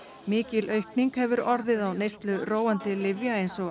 mikil aukning hefur orðið á neyslu róandi lyfja eins og